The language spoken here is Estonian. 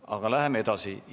Aga läheme edasi.